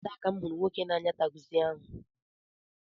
Oteela aka m hụrụ nwoke n'anya takzi ahụ.